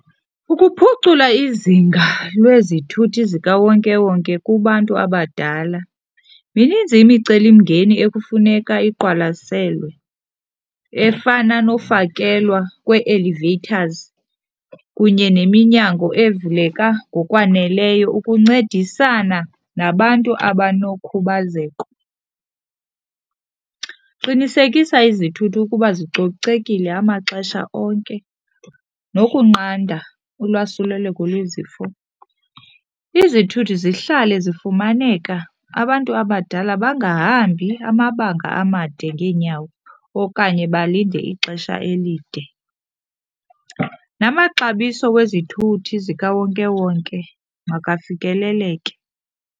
Ukuphucula izinga lwezithuthi zikawonkewonke kubantu abadala, mininzi imicelimngeni ekufuneka iqwalaselwe efana nofakelwa kwee-elevators kunye neminyango evuleka ngokwaneleyo ukuncedisana nabantu abanokhubazeko. Qinisekisa izithuthi ukuba zicocekile amaxesha onke nokunqanda ulwasuleleko lwezifo. Izithuthi zihlale zifumaneka abantu abadala bangahambi amabanga amade ngeenyawo okanye balinde ixesha elide, namaxabiso wezithuthi zikawonkewonke makafikeleleke.